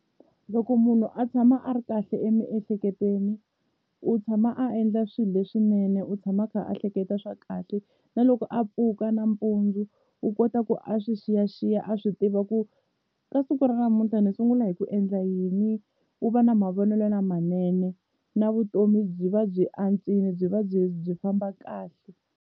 Loko munhu a tshama a ri kahle emiehleketweni u tshama a endla swilo leswinene u tshama a kha a hleketa swa kahle na loko a pfuka nampundzu u kota ku a swi xiyaxiya a swi tiva ku ka siku ra namuntlha ni sungula hi ku endla yini u va na mavonelo lamanene na vutomi byi va byi antswile byi va byi byi famba kahle.